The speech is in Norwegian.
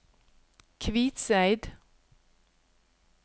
Kvitseid